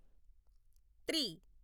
three